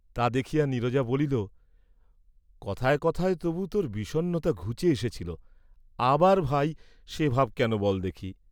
তা দেখিয়া নীরজা বলিল, "কথায় কথায় তবু তোর বিষন্নতা ঘুচে এসেছিল, আবার ভাই, সে ভাব কেন বল দেখি?"